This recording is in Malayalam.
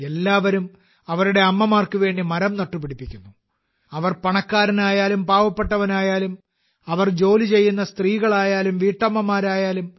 എല്ലാവരും അവരുടെ അമ്മമാർക്ക് വേണ്ടി മരം നട്ടുപിടിപ്പിക്കുന്നു - അവർ പണക്കാരനായാലും പാവപ്പെട്ടവനായാലും അവർ ജോലി ചെയ്യുന്ന സ്ത്രീകളായാലും വീട്ടമ്മമാരായാലും